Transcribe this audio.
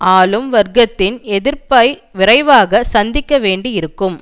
ஆளும் வர்க்கத்தின் எதிர்ப்பை விரைவாக சந்திக்க வேண்டி இருக்கும்